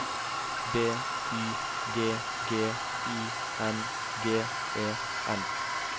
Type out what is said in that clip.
B Y G G I N G E N